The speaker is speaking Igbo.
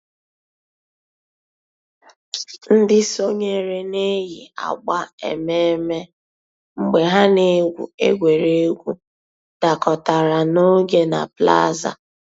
Ǹdí sọǹyèrè nà-èyi àgbà emèmé́ mgbè hà nà-ègwù ègwè́ré́gwụ̀ dàkọ̀tàrà n'ògè nà plaza.